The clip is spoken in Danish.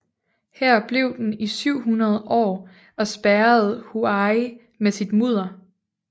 Her blev den i 700 år og spærrede Huai med sit mudder